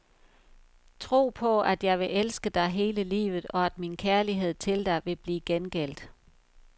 Tro på, at jeg vil elske dig hele livet, og at min kærlighed til dig vil blive gengældt.